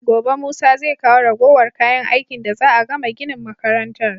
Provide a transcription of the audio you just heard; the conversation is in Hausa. Gobe musa zai kawo ragowar kayan aikin da za'a gama ginin makarantar